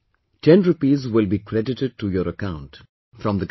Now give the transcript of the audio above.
Ten rupees will be credited to your account from the government